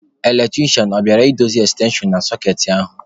Eletrisha, ọ bịala I dozi ekstenshon na sọkeetị ahụ?